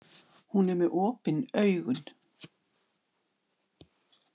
Hún er með opin augun.